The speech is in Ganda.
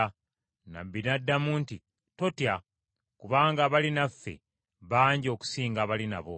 Nnabbi n’addamu nti, “Totya kubanga abali naffe bangi okusinga abali nabo.”